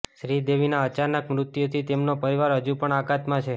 શ્રીદેવીના અચાનક મૃત્યુથી તેમનો પરિવાર હજુ પણ આઘાતમાં છે